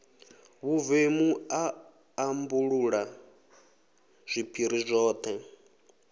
vhuvemu a ambulula zwiphiri zwoṱhe